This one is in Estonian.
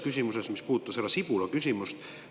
See puudutab härra Sibula küsimust.